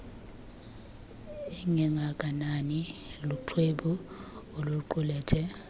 engengakanani luxwebhu oluqulethe